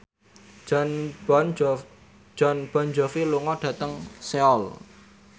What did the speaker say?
Jon Bon Jovi lunga dhateng Seoul